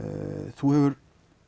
þú hefur